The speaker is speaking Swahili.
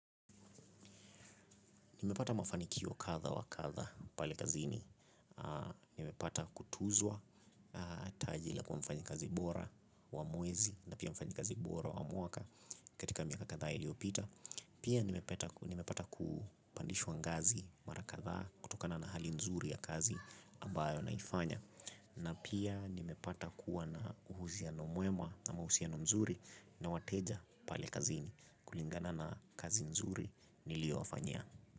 Nimepata mafanikio kadha wa kadha pale kazini, nimepata kutuzwa taji la kuwa mfanyikazi bora wa mwezi na pia mfanyikazi bora wa mwaka katika miaka kadhaa iliopita. Pia nimepata kupandishwa ngazi mara kadhaa kutokana na hali nzuri ya kazi ambayo naifanya na pia nimepata kuwa na uhuziano mwema na mahusiano mzuri na wateja pale kazini kulingana na kazi nzuri niliowafanyia.